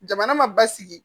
Jamana ma basigi